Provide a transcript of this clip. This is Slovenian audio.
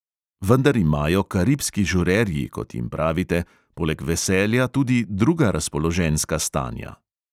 Vendar imajo karibski žurerji, kot jim pravite, poleg veselja tudi druga razpoloženjska stanja.